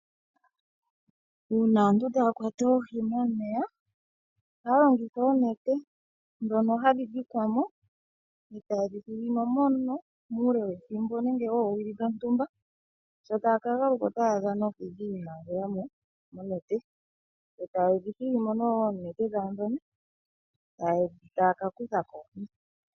Uuna aantu taya kwata oohi momeya ohaya longitha oonete dhoka hadhi dhikwa mo eta ye dhi thigimo mono uule wethimbo nenge oowili dhontumba, sho taya ka galuka otaya adha oohi dhiimangela moonete ,eta ye dhi hili mo oonete dhawo eta ya kakutha koohi.